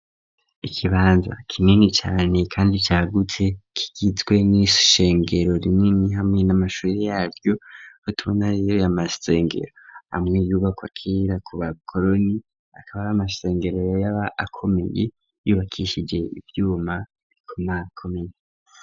Ikibanza kinini cane kandi cagutse kigizwe n'ishengero rinini hamwe n'amashuri yaryo .Rituranye na masengero amwe yubakwa kera ku bakoroni akaba ari amasengero yaba akomeye yubakishije ivyuma bokomakomeye.